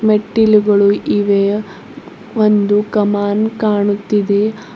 ಮೆಟ್ಟಿಲುಗಳು ಇವೆ ಒಂದು ಕಮಾನ್ ಕಾಣುತ್ತಿದೆ.